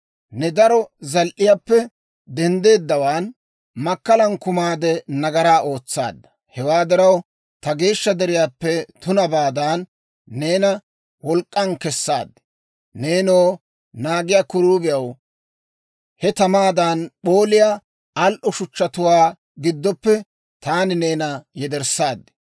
Ne daro zal"iyaappe denddeeddawaan, makkalan kumaade, nagaraa ootsaadda. Hewaa diraw, ta geeshsha deriyaappe tunabaadan, neena wolk'k'an kessaad. Neenoo, naagiyaa kiruubiyaw, he tamaadan p'ooliyaa al"o shuchchatuwaa giddoppe taani neena yederssaad.